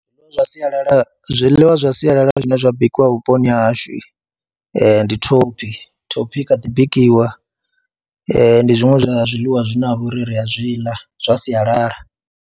Zwiḽiwa zwa sialala, zwiḽiwa zwa sialala zwine zwa bikiwa vhuponi ha hashu ndi thophi, thophi i kha ḓi bikiwa, ndi zwiṅwe zwa zwiḽiwa zwine ha vha uri ri a zwi ḽa zwa sialala.